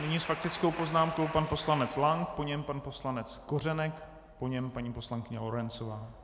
Nyní s faktickou poznámkou pan poslanec Lank, po něm pan poslanec Kořenek, po něm paní poslankyně Lorencová.